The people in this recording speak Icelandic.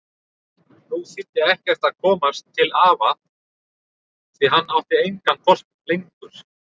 Nú þýddi ekkert að komast til afa því hann átti engan hvolp lengur.